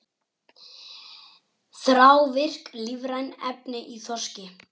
Þrávirk lífræn efni í þorski